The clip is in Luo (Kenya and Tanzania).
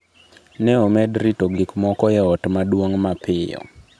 Ne omed rito gik moko e Ot Maduong’ mapiyo.